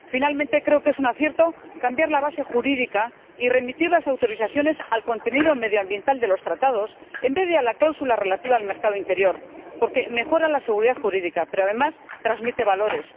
Finalmente, creo que es un acierto cambiar la base jurídica y remitir las autorizaciones al contenido medioambiental de los Tratados, en vez de a la cláusula relativa al mercado interior, porque mejora la seguridad jurídica pero, además, transmite valores.